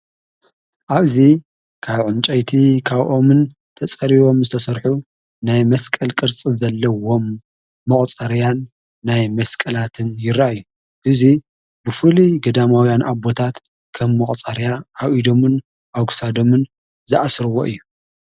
ኣብዚ ካብ ዑንጨይቲ ካብ ኦምን ተጸሪቦም ዝተሠርሑ ናይ መስቀል ቅርጽ ዘለዎም መቝፃርያን ናይ መስቀላትን ይረአዩ እዙይ ብፉሉይ ገዳማውያን ኣቦታት ከም መቝፃርያ ኣብ ኢዶምን ኣብ ክሳዶምን ዝኣስርዎ እዩ፡፡